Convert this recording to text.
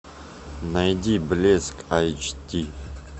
найди блеск айч ди